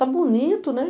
Tá bonito, né?